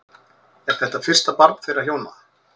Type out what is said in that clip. Er þetta fyrsta barn þeirra hjóna